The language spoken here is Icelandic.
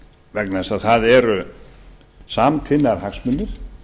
vegna þess að það eru samtvinnaðir hagsmunir